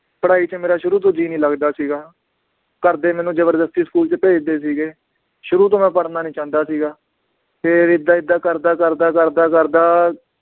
ਪੜ੍ਹਾਈ ਚ ਮੇਰਾ ਸ਼ੁਰੂ ਤੋਂ ਜੀ ਨੀ ਲੱਗਦਾ ਸੀਗਾ ਘਰਦੇ ਮੈਨੂੰ ਜ਼ਬਰਦਸਤੀ school ਚ ਭੇਜਦੇ ਸੀਗੇ, ਸ਼ੁਰੂ ਤੋਂ ਮੈ ਪੜ੍ਹਨਾ ਨੀ ਚਾਹੁੰਦਾ ਸੀਗਾ, ਫੇਰ ਏਦਾਂ ਏਦਾਂ ਕਰਦਾ ਕਰਦਾ ਕਰਦਾ ਕਰਦਾ